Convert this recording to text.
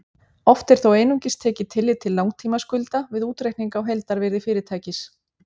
Oft er þó einungis tekið tillit til langtímaskulda við útreikning á heildarvirði fyrirtækis.